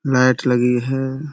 Light लगी है।